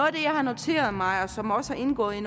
af det jeg har noteret mig og som også har indgået i